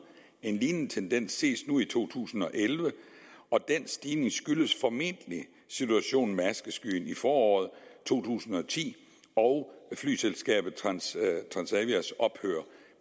en lignende tendens ses nu i to tusind og elleve den stigning skyldes formentlig situationen med askeskyen i foråret to tusind og ti og flyselskabet transavias ophør